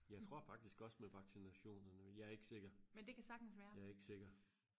jeg tror faktisk også med vaccinationerne men jeg er ikke sikker jeg er ikke sikker